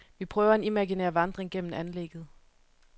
Vi prøver en imaginær vandring gennem anlægget.